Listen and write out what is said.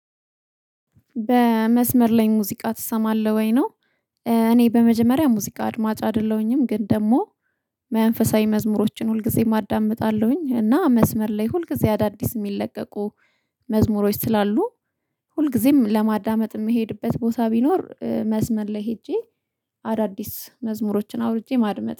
በመስመር ላይ ሙዚቃ ትሰማለህ ወይ ነው? እኔ በመጀመሪያ ሙዚቃ አድማጭ አይደለሁኝም ግን ደግሞ መንፈሳዊ መዝሙሮችን ሁልጊዜም አዳምጣለሁኝ። እና መስመር ላይ ሁልጊዜ አዳዲስ የሚለቀቁ መዝሙሮች ስላሉ ሁልጊዜም ለማዳመጥ የምሄድበት ቦታ ቢኖር መስመር ላይ ሄጄ አዳዲስ መዝሙሮችን አውርጄ ማድመጥ